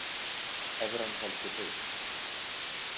Evran heldur haus